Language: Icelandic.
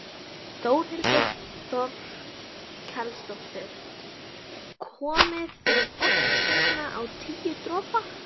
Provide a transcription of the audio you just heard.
Þórhildur Þorkelsdóttir: Komið þið oft hérna á Tíu dropa?